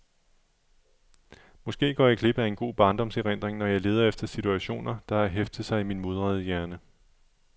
Måske går jeg glip af en god barndomserindring, når jeg leder efter situationer, der har heftet sig i min mudrede hjerne.